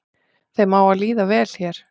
Þeim á að líða vel hér